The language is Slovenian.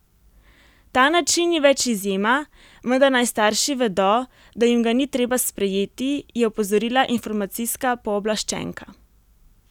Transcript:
Ta način ni več izjema, vendar naj starši vedo, da jim ga ni treba sprejeti, je opozorila informacijska pooblaščenka.